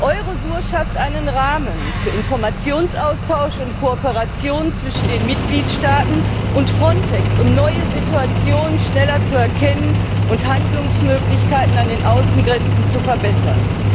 Eurosur schafft einen Rahmen für Informationsaustausch und Kooperation zwischen den Mitgliedstaaten und Frontex, um neue Situationen schneller zu erkennen und Handlungsmöglichkeiten an den Außengrenzen zu verbessern.